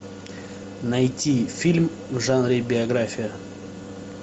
найти фильм в жанре биография